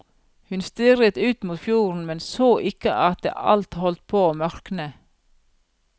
Hun stirret ut mot fjorden, men så ikke at det alt holdt på å mørkne.